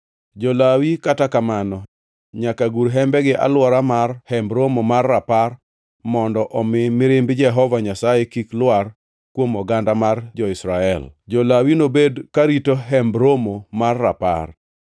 Jo-Lawi, kata kamano, nyaka gur hembegi e alwora mar Hemb Romo mar Rapar mondo omi mirimb Jehova Nyasaye kik lwar kuom oganda mar jo-Israel. Jo-Lawi nobed karito Hemb Romo mar Rapar.”